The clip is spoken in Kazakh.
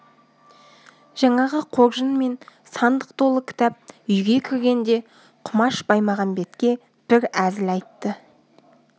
жаңағы қоржын мен сандық толы кітап үйге кіргенде құмаш баймағамбетке бір әзіл айтты